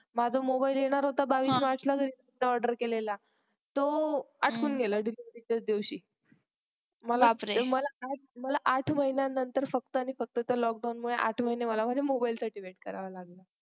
माझा MOBILE येणार होता बावीस मार्चला मी ONLINE order केलेला तो अटकून गेला DELIVERY च्याच दिवशी मला मला आठ महिन्यानंतर फक्त आणि फक्त त्या lockdown मुळे आठ महीने मला माझ्या MOBILE साठी wait कराव लागलं